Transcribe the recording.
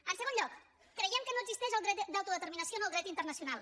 en segon lloc creiem que no existeix el dret d’autodeterminació en el dret internacional